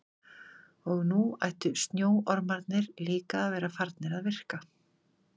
Og nú ættu snjóormarnir líka að vera farnir að virka.